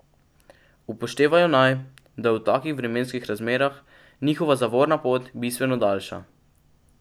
Upoštevajo naj, da je v takih vremenskih razmerah njihova zavorna pot bistveno daljša.